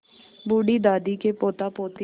बूढ़ी दादी के पोतापोती